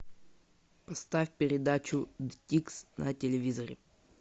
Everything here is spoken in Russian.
поставь передачу дикс на телевизоре